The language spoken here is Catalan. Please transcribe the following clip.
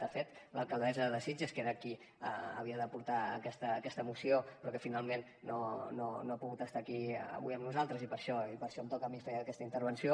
de fet l’alcaldessa de sitges que era qui havia de portar aquesta moció però que finalment no ha pogut estar aquí avui amb nosaltres i per això em toca a mi fer aquesta intervenció